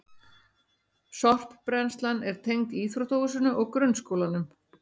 Sorpbrennslan er tengd íþróttahúsinu og grunnskólanum